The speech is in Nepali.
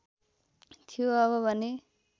थियो अब भने